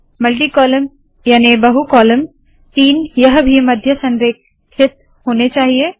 multi column याने बहु column तीन यह भी मध्य संरेखित होने चाहिए